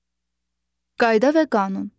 Qayda və qanun.